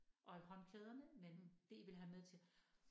Og håndklæderne men det I vil have med til